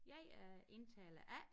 Jeg er indtaler A